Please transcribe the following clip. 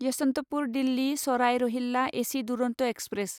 Yesvantpur Delhi Sarai Rohilla AC Duronto express